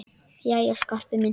Jæja, Skarpi minn.